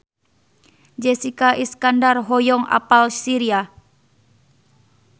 Jessica Iskandar hoyong apal Syria